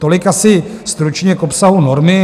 Tolik asi stručně k obsahu normy.